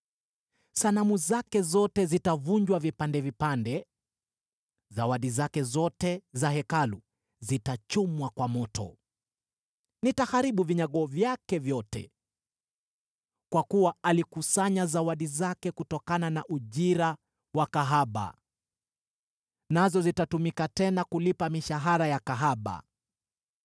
Sanamu zake zote zitavunjwa vipande vipande; zawadi zake zote za Hekalu zitachomwa kwa moto; nitaharibu vinyago vyake vyote. Kwa kuwa alikusanya zawadi zake kutokana na ujira wa kahaba, nazo zitatumika tena kulipa mishahara ya kahaba.”